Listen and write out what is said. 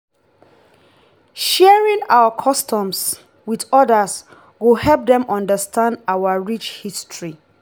sharing our customs with others go help dem understand our rich history.